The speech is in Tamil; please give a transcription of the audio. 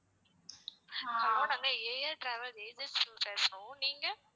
ஆஹ் hello நாங்க ஏஆர்டிராவல் ஏஜென்சில இருந்து பேசுறோம். நீங்க?